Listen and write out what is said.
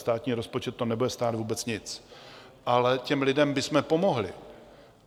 Státní rozpočet to nebude stát vůbec nic, ale těm lidem bychom pomohli.